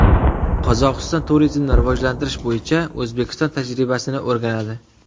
Qozog‘iston turizmni rivojlantirish bo‘yicha O‘zbekiston tajribasini o‘rganadi.